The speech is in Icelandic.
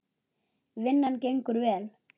Vinnan gengur vel.